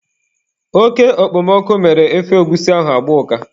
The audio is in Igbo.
Oke okpomọkụ mere ofe egwusi ahụ agbaa ụka.